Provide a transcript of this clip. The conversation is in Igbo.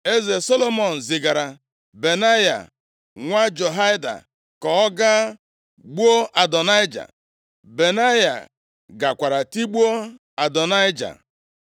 Eze Solomọn zigara Benaya nwa Jehoiada ka ọ gaa gbuo Adonaịja. Benaya gakwara tigbuo Adonaịja.